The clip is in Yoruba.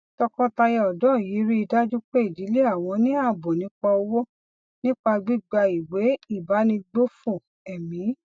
tọkọtaya òdó yìí rí i dájú pé ìdílé àwọn ní ààbò nípa owó nípa gbígba ìwé ìbánigbófò èmí